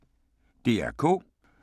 DR K